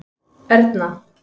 Erna